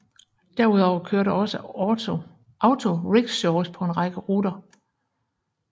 Derudover kører der også auto rickshaws på en række ruter